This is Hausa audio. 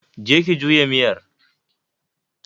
je ki juya miyar.